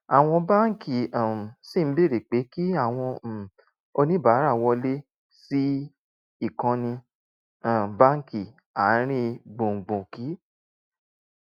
àwọn báńkì um ṣì ń béèrè pé kí àwọn um oníbàárà wọlé sí ìkànnì um báńkì àárín gbùngbùn kí